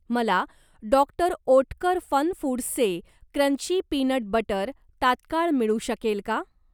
मला डॉ. ओटकर फनफूड्सचे क्रंची पीनट बटर तात्काळ मिळू शकेल का?